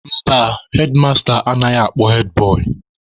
Mba, hedmasta anaghị akpọ hedbọị.